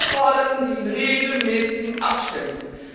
Wir forderten sie in regelmäßigen Abständen.